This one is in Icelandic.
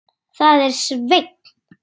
Það var Sveinn.